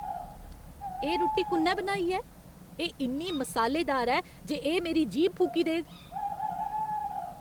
एह् रुट्टी कु'न्नै बनाई ऐ? एह् इन्नी मसालेदार ऐ जे एह् मेरी जीह्ब फूकी देग।